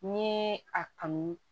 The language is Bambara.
Ni ye a kanu